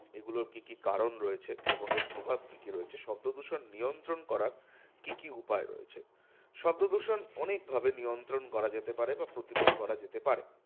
এগুলোর কি কি কারণ রয়েছে? এবং এর প্রভাব কি কি রয়েছে? শব্দদূষণ নিয়ন্ত্রণ করার কি কি উপায় রয়েছে? শব্দদূষণ অনেকভাবে নিয়ন্ত্রণ করা যেতে পারে বা প্রতিরোধ করা যেতে পারে।